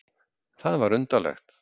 Það var undarlegt.